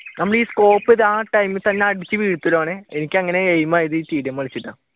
നമ്മൾ ഈ scope ആ ടൈമിൽ തന്നെ തന്നെ അടിച്ചു വീഴ്ത്തലാണ് എനിക്ക് അങ്ങനെ aim ആയതു കളിച്ചിട്ടാണ്.